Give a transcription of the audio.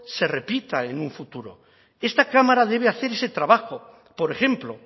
se repita en un futuro esta cámara debe hacer ese trabajo por ejemplo